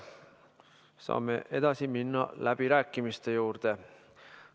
Saame edasi minna läbirääkimiste juurde.